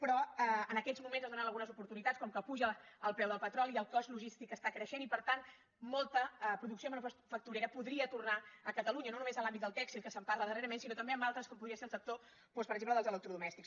però en aquests moments es donen algunes oportunitats com que puja el preu del petroli i el cost logístic està creixent i per tant molta producció manufacturera podria tornar a catalunya no només en l’àmbit del tèxtil que se’n parla darrerament sinó també en altres com podria ser el sector doncs per exemple dels electrodomèstics